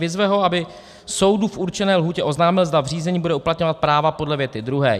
Vyzve ho, aby soudu v určené lhůtě oznámil, zda v řízení bude uplatňovat práva podle věty druhé.